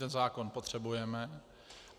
Ten zákon potřebujeme.